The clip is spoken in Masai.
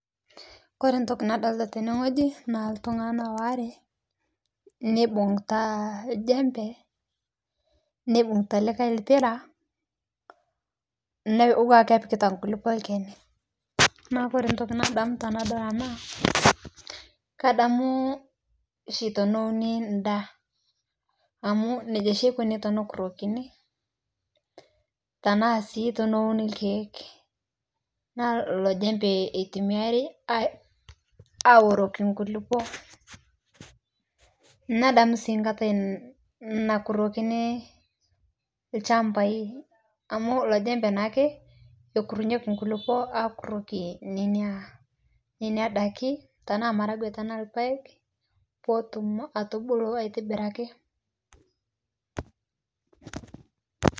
Kore ntoki nadolita tene ng'oji naa ltung'ana waare neibung'uta ljempe neibug'ita likai lpira, naa otuwaa kepikita nkulipo lkeni naa kore ntoki nadamu tanadol anaa kadamu shi tonouni ndaa amu neja shi eikoni tenekurokini tanaa sii tonouni lkeek naa ilo jempee eitumiarii awuroki nkulipo nadamu sii nkatai nakurokini lchampai amu ilo jempee naake ekurenyeki nkulipoo akuroki nenia daki tanaa maragwee tanaa lpaeg potum atubulu aitibiraki.